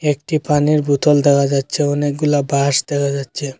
একটি পানির বোতল দেখা যাচ্চে অনেকগুলা বাঁশ দেখা যাচ্চে ।